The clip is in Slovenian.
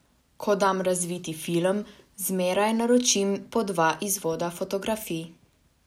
Ko dam razviti film, zmeraj naročim po dva izvoda fotografij.